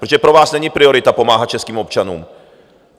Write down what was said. Protože pro vás není priorita pomáhat českým občanům.